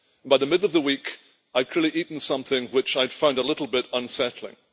By the middle of the week I had clearly eaten something which I found a little bit unsettling.